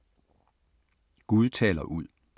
Gud taler ud